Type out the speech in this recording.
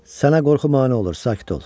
Sənə qorxu mane olur, sakit ol.